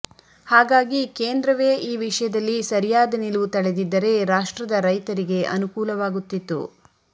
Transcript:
ಹಾಗಾಗಿ ಕೇಂದ್ರವೇ ಈ ವಿಷಯದಲ್ಲಿ ಸರಿಯಾದ ನಿಲುವು ತಳೆದಿದ್ದರೆ ರಾಷ್ಟ್ರದ ರೈತರಿಗೆ ಅನುಕೂಲವಾಗುತ್ತಿತ್ತು